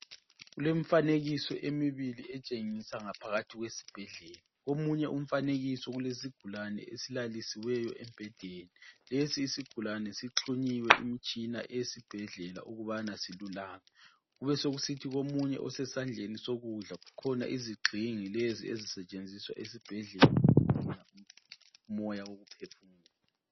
Kulemifanekiso emibili etshengisa ngaphakathi kwesibhedlela. Omunye umfanekiso ulesigulane esilalisiweyo embhedeni. Lesi isigulane sixhunyiwe imtshina eyesbhedlela ukubana silulame kubesekusithi komunye osesandleni sokudla kukhona izigxingi lezi ezisetshenziswa esibhedlela umoya wokuphefumula